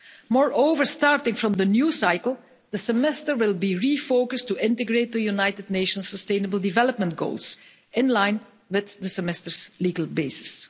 Moreover, starting from the new cycle, the semester will be refocussed to integrate the United Nations' sustainable development goals in line with the semester's legal basis.